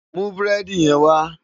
Mú búrèdi yèn wá